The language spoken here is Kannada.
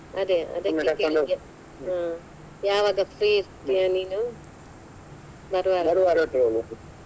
ಅದೇ ಅದಕ್ಕೆ ಹ್ಮ ಯಾವಾಗ free ಇರ್ತೀಯ ನೀನು? .